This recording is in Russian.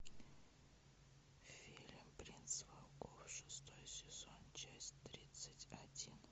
фильм принц волков шестой сезон часть тридцать один